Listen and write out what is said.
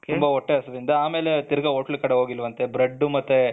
ತುಂಬ ಹೊಟ್ಟೆ ಅಸ್ವಿನಿಂದ ಅಮೇಲೆ ತಿರಗ ಹೋಟೆಲ್ ಕಡೆ ಹೋಗಿಲ್ವಂತೆ ಬ್ರೆಡ್ಡು ಮತ್ತೆ